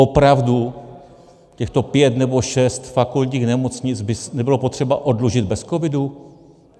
Opravdu těchto pět nebo šest fakultních nemocnic by nebylo potřeba oddlužit bez covidu?